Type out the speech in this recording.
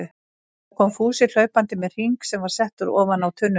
Þá kom Fúsi hlaupandi með hring sem var settur ofan á tunnuna.